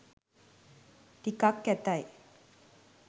ටිකක් කැතයි.